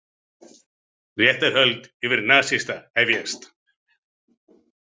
Réttarhöld yfir nasista hefjast